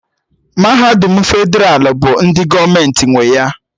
Mahadum Fedralụ bụ ndị gọọmenti nwe ya